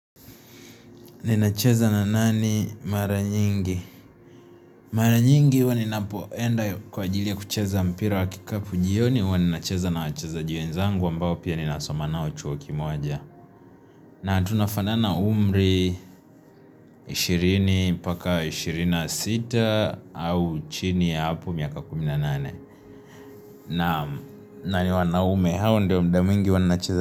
Ninacheza na nani maranyingi? Maranyingi huwaninapoenda kwa ajili ya kucheza mpira wa kikapu jioni huwaninacheza na wacheziji wenzangu ambao pia ninasomanao chuo kimoja na tunafana na umri 20 paka 26 au chini ya hapu miaka kuminanane na nani wanaume hao ndio mda mingi wanacheza.